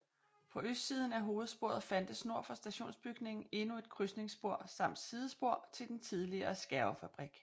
På østsiden af hovedsporet fandtes nord for stationsbygningen endnu et krydsningsspor samt sidespor til den tidligere skærvefabrik